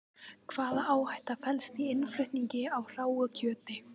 Hvaða áhætta felst í innflutningi á hráu kjöti?